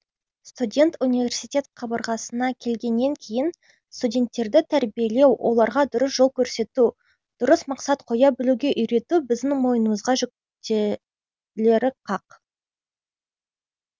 студент университет қабырғасына келгеннен кейін студенттерді тәрбиелеу оларға дұрыс жол көрсету дұрыс мақсат қоя білуге үйрету біздің мойнымызға жүктелері қақ